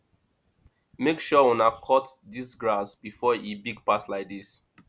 make sure una cut dis grass before e big pass like dis